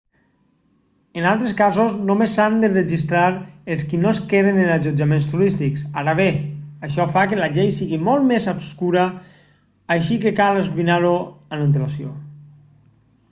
en altres casos només s'han de registrar els qui no es queden en allotjaments turístics ara bé això fa que la llei sigui molt més obscura així que cal esbrinar-ho amb antelació